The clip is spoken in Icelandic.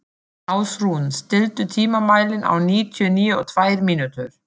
Ásrún, stilltu tímamælinn á níutíu og tvær mínútur.